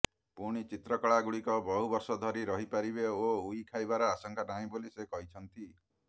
ପୁଣି ଚିତ୍ରକଳାଗୁଡ଼ିକ ବହୁ ବର୍ଷ ଧରି ରହିପାରିବ ଓ ଉଇ ଖାଇବାର ଆଶଙ୍କା ନାହିଁ ବୋଲି ସେ କହିଛନ୍ତି